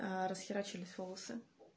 расхерачились волосы